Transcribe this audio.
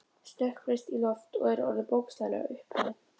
stökkbreyst í loft, og er orðin, bókstaflega, upphafin.